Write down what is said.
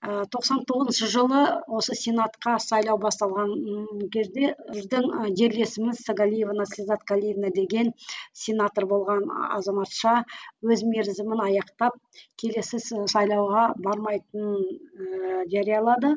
ы тоқсан тоғызыншы жылы осы сенатқа сайлау басталған ы кезде біздің і жерлесіміз сагалиева наслизат калиевна деген сенатор болған азаматша өз мерзімін аяқтап келесі сайлауға бармайтынын ыыы жариялады